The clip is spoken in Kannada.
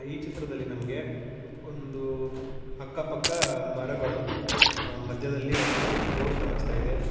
ಈ ಚಿತ್ರದಲ್ಲಿ ನಮಗೆ ಒಂದು ಅಕ್ಕಪಕ್ಕ ಮರಗಳು ಅ ಮಧ್ಯದಲ್ಲಿ ಒಂದು ರೋಡ್ ಕಾಣಿಸ್ತಾ ಇದೆ.